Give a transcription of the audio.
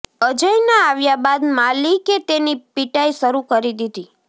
અજયના આવ્યાં બાદ માલિકે તેની પીટાઈ શરૂ કરી દીધી